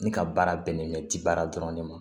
Ne ka baara bɛnnen bɛ tibaara dɔrɔn ne ma